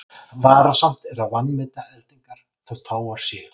Varasamt er að vanmeta eldingar þótt fáar séu.